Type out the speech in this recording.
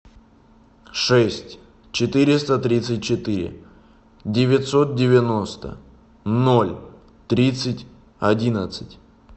шесть четыреста тридцать четыре девятьсот девяносто ноль тридцать одиннадцать